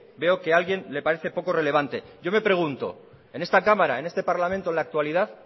veo que alguien le parece poco relevante yo me pregunto en esta cámara en este parlamento en la actualidad